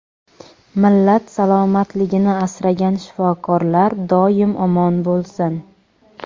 millat salomatligini asragan shifokorlar doim omon bo‘lsin.